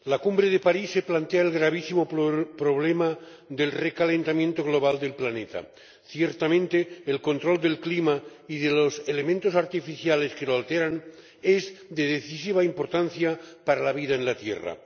Señor Presidente, la Cumbre de París plantea el gravísimo problema del recalentamiento global del planeta. Ciertamente, el control del clima y de los elementos artificiales que lo alteran es de decisiva importancia para la vida en la tierra.